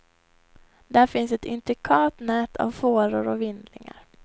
Där finns ett intrikat nät av fåror och vindlingar.